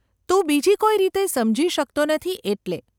તું બીજી કોઈ રીતે સમજી શકતો નથી એટલે.